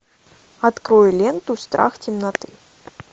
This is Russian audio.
открой ленту страх темноты